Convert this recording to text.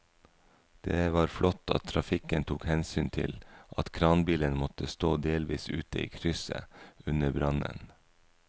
Det var flott at trafikken tok hensyn til at kranbilen måtte stå delvis ute i krysset under brannen.